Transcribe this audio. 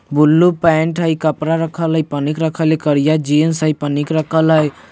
Blue pant हई कपड़ा रखल हई पनीक रखल हई करिया जिन्स हई पनिक रखल हई।